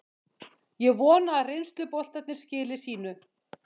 Ég vona að reynsluboltarnir skili sínu.